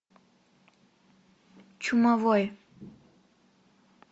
чумовой